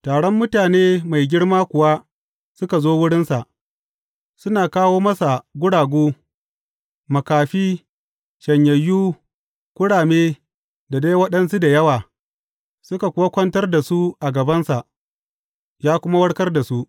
Taron mutane mai girma kuwa suka zo wurinsa, suna kawo masa guragu, makafi, shanyayyu, kurame da dai waɗansu da yawa, suka kuwa kwantar da su a gabansa; ya kuma warkar da su.